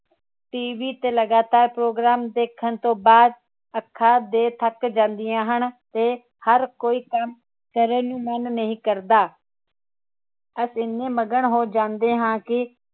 TV ਤੇ ਲਗਾਤਾਰ program ਦੇਖਣ ਤੋਂ ਬਾਅਦ ਅੱਖਾਂ ਦੇ ਥੱਕ ਜਾਂਦੀਆਂ ਹਨ ਤੇ ਹਰ ਕੋਈ ਕਾਮ ਕਰਨ ਨੂੰ ਮਨ ਨਹੀਂ ਕਰਦਾ ਅਸੀਂ ਏਨ੍ਹੇ ਮਗਨ ਹੋ ਜਾਂਦੇ ਹਾਂ ਕਿ